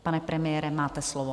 Pane premiére, máte slovo.